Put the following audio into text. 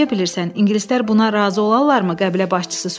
Necə bilirsən, ingilislər buna razı olarlarmı, qəbilə başçısı soruşdu.